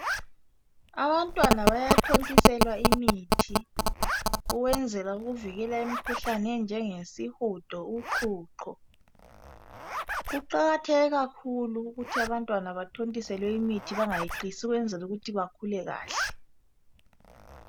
Abantwana bayathontiselwa imithi ukwenzela ukuvikela imikhuhlane enjengesihudo, uqhuqho kuqakatheke kakhulu ukuthi abantwana bathontiselwe imithi bengayeqisi ukwenzela ukuthi bakhule kahle.